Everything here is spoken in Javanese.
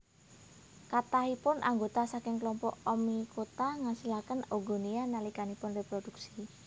Kathahipun anggota saking klompok Oomycota ngasilaken oogonia nalikanipun réprodhuksi